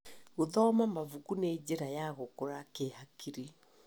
Gũthoma mabuku nĩ njĩra ya gũkũra kĩhakiri.